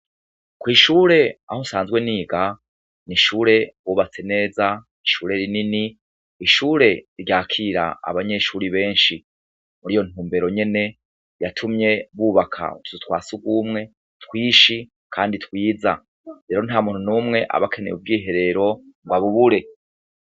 Ko'ishure aho nsanzwe niga ni ishure bubatse neza ishure rinini ishure ryakira abanyeshuri benshi muri iyo ntumbero nyene yatumye bubaka tutu twasugumwe twishi, kandi twiza rero nta muntu n'umwe abakeneye ubwiherero ngo abubure.